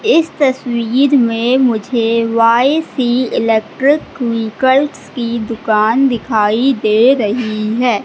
इस तस्वीर में मुझे वाई_सी इलेक्ट्रिक व्हीकल्स की दुकान दिखाई दे रही है।